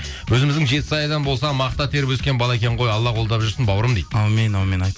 өзіміздің жетісайдан болса мақта теріп өскен бала екен ғой алла қолдап жүрсін бауырым дейді әумин әумин